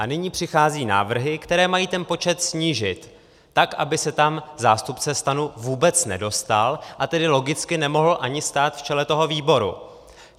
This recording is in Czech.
A nyní přicházejí návrhy, které mají ten počet snížit tak, aby se tam zástupce STAN vůbec nedostal, a tedy logicky nemohl ani stát v čele toho výboru.